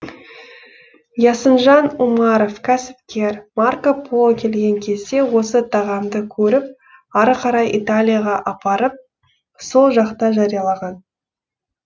ясынжан умаров кәсіпкер марко поло келген кезде осы тағамды көріп ары қарай италияға апарып сол жақта жариялаған